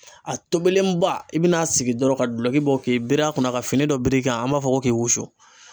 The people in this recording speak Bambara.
A tobilenba i bi n'a sigi dɔrɔn ka gulɔki bɔ k'i biri a kunna ka fini dɔ bir'i kan an b'a fɔ ko k'i wusu.